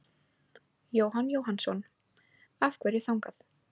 Jóhann Jóhannsson: Af hverju þangað?